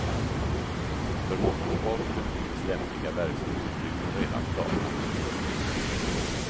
För motorsporten finns lämpliga verkstadsutrymmen redan klara.